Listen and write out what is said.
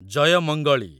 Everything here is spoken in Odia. ଜୟମଙ୍ଗଳି